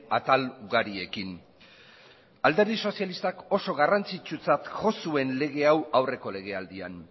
atal ugariekin alderdi sozialistak oso garrantzitsutzat jo zuen lege hau aurreko lege aldian